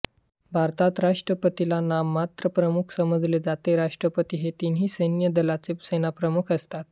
भारतात राष्ट्रपतीला नाममात्र प्रमुख समजले जाते राष्ट्रपती हे तिन्ही सेन्य दलाचे सेनाप्रमुख असतात